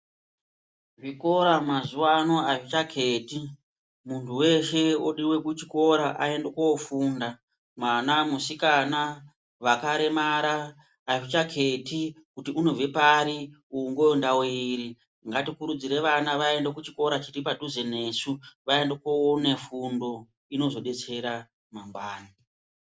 Zvikora mazuwa ano azvichaketi munhu weshe odiwe kuchikora aende koofunda mwana musikana ,vakaremara azvichaketi kuti unobva pari uyu ngo ndau iri ngatikurudzire vana vaende kuchikora chiripadhuze nesu vaende koone fundo inozodetsera mangwani.